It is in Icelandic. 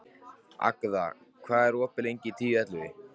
Agða, hvað er opið lengi í Tíu ellefu?